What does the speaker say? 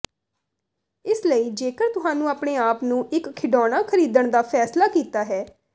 ਇਸ ਲਈ ਜੇਕਰ ਤੁਹਾਨੂੰ ਆਪਣੇ ਆਪ ਨੂੰ ਇੱਕ ਖਿਡੌਣਾ ਖਰੀਦਣ ਦਾ ਫੈਸਲਾ ਕੀਤਾ ਹੈ